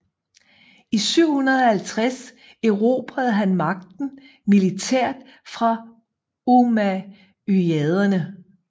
I 750 erobrede han magten militært fra ummayaderne